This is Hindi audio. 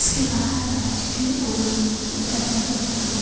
उसके बाहर काच के अ दरवाजे लगे हुए--